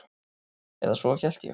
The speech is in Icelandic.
Eða svo hélt ég.